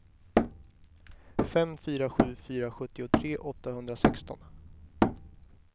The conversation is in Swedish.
fem fyra sju fyra sjuttiotre åttahundrasexton